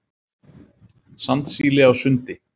Sandsíli á sundi.